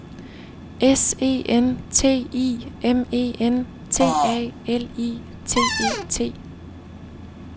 S E N T I M E N T A L I T E T